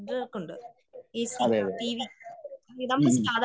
അതെയതെ ഉം ഉം